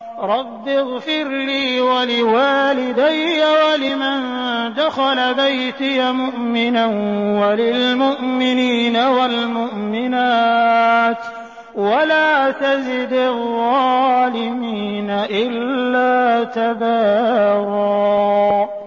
رَّبِّ اغْفِرْ لِي وَلِوَالِدَيَّ وَلِمَن دَخَلَ بَيْتِيَ مُؤْمِنًا وَلِلْمُؤْمِنِينَ وَالْمُؤْمِنَاتِ وَلَا تَزِدِ الظَّالِمِينَ إِلَّا تَبَارًا